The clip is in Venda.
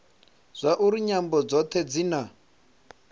zwauri nyambo dzothe dzi na